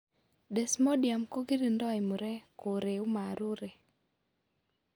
Desmodium kogirindoi murek, koreu marurek